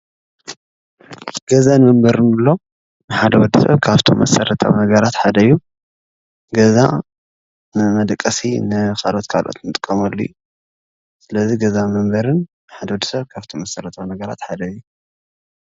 ገዛን መንበሪን ንብሎ ንሓደ ወድሰብ ካብቶም መሰረታዊ ነገራት ሓደ እዪ። ገዛ ንመደቀሲ ንካልኦት ንጥቀመሉ አዪ ስለዚ ገዛ መንበሪን ንሓደ ወዲሰብ መሰረታዊ ነገራት ሓደ እዪ ።